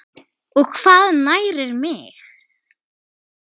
og Hvað nærir mig?